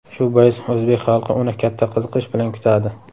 Shu bois o‘zbek xalqi uni katta qiziqish bilan kutadi.